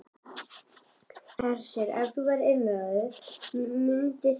Hersir: Ef þú værir einráður, mynduð þið bjóða fram?